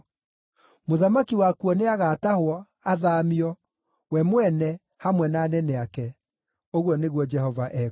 Mũthamaki wakuo nĩagatahwo, athaamio, we mwene, hamwe na anene ake,” ũguo nĩguo Jehova ekuuga.